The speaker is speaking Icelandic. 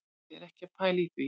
Er ekki að pæla í því,